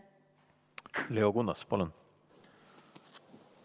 Leo Kunnas, palun!